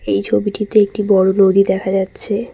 এই ছবিটিতে একটি বড় নদী দেখা যাচ্ছে।